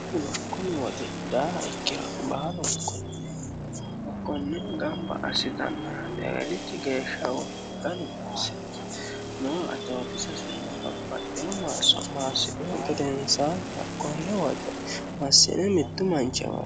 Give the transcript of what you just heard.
kumiwoti daaha ikkira maalu ikunni hakkonne gamba assitannora negelichi geeshshawonnimaganu marsino noo atotissingaaio maarso maassi'u gedenisaanni hakkonne woxe massine mittu manchiamao